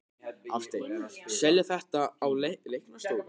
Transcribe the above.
Hafsteinn: Selja þetta á læknastofur?